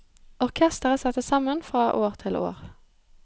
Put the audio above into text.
Orkestret settes sammen fra år til år.